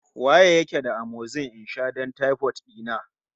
Wa yake da amoxil in sha don taifot dina?